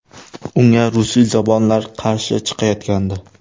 Unga rusiyzabonlar qarshi chiqayotgandi.